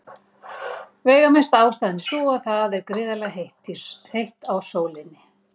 Veigamesta ástæðan er sú að það er gríðarlega heitt á sólinni.